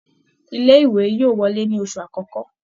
Ilé ìwé yóò wọlé ní oṣù akọkọ.